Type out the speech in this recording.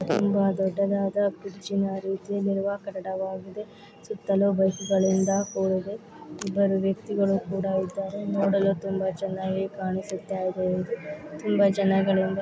ತುಂಬಾ ದೊಡ್ಡದಾದ ಕುರ್ಚಿಯ ರೀತಿಯಲ್ಲಿರುವ ಸುತ್ತಲು ಬಸ್ಸಿನಿಂದ ಕೂಡಿದೆ ಇಬ್ಬರು ವ್ಯಕ್ತಿಗಳ ಇಬ್ಬರು ವ್ಯಕ್ತಿಗಳು ಕೂಡ ಇದ್ದಾರೆ ನೋಡಲು ತುಂಬಾ ಚೆನ್ನಾಗಿ ಕಾಣಿಸ್ತಾ ಇದೆ ತುಂಬಾ ಜನಗಳಿಂದ--